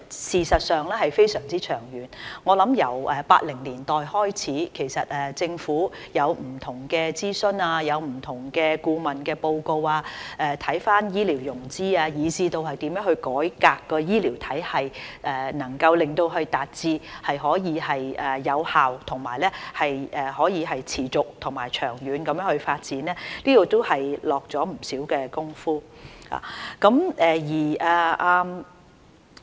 事實上是非常長遠，我想由1980年代開始，政府有不同的諮詢、不同的顧問報告，檢視醫療融資以至如何改革醫療體系，使其能夠達至有效、持續和長遠地發展，在這方面下了不少工夫。